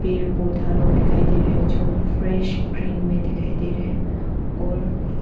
पेड़ पौधा लोग दिखाई दे रहे हैं जो फ्रेश ग्रीन में दिखाई दे रहे हैं और--